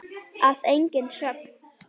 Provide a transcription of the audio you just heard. Að eigin sögn.